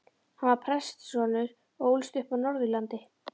Hann var prestssonur og ólst upp á Norðurlandi.